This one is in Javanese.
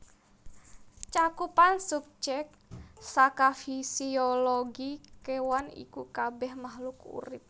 Cakupan subjek saka fisiologi kéwan iku kabèh makhluk urip